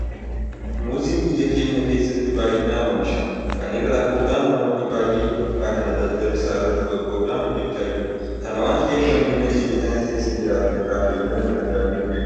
Muuziin biyya keenya keessatti baay'inaan oomishama. Kana irraa ka'uudhaan namoonni baay'een yeroo ammaa kana daldala isaa irratti bobba'uudhaan hojjechaa jiru. Kana waanta ta'eef lammiileen biyya kana keessa jiraatan irraa fayyadamuu danda'aniiru jechuudha.